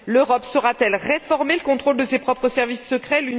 L'Europe saura t elle réformer le contrôle de ses propres services secrets?